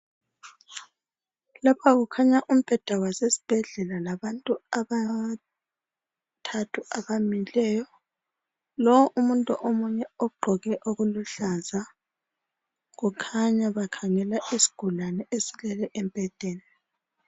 Lapha kukhanya umbheda wasesibhedlela labantu abathathu abamileyo. Lowo umuntu omunye ugqoke okuluhlaza . Kukhanya bakhangela isigulane esilele embhedeni.